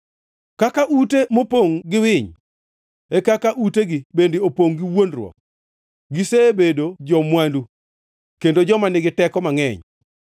Kaka ute mopongʼ gi winy, e kaka utegi bende opongʼ gi wuondruok; gisebedo jo-mwandu, kendo joma nigi teko mangʼeny,